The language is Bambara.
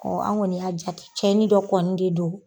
Ɔ anp kɔni y'a jate cɛnni dɔ kɔni de don.